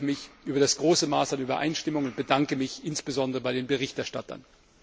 Nun freue ich mich über das große Maß an Übereinstimmung und bedanke mich insbesondere bei den Berichterstattern.